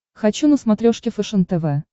хочу на смотрешке фэшен тв